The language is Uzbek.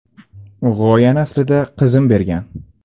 G‘oyani aslida qizim bergan.